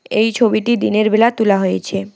এই ছবিটি দিনেরবেলা তোলা হয়েছে।